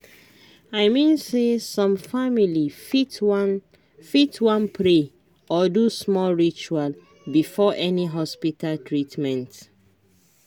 i mean say some family fit wan fit wan pray or do small ritual before any hospita treatment